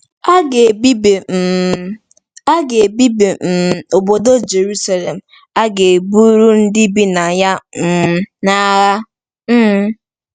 A ga-ebibi um A ga-ebibi um obodo Jeruselem, a ga-eburu ndị bi na ya um n’agha. um